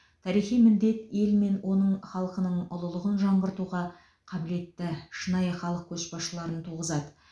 тарихи міндет ел мен оның халқының ұлылығын жаңғыртуға қабілетті шынайы халық көшбасшыларын туғызады